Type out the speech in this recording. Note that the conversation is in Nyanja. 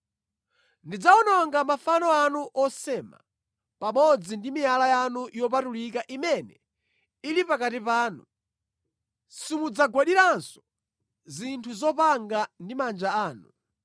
Ndidzawononga mafano anu osema pamodzi ndi miyala yanu yopatulika imene ili pakati panu; simudzagwadiranso zinthu zopanga ndi manja anu.